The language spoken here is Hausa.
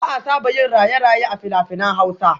Ba a saba yin raye-raye a fina-finan hausa